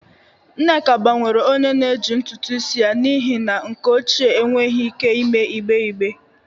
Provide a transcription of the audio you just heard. Nneka gbanwere onye na-eji ntutu isi ya n'ihi na nke ochie enweghị ike ime igbe igbe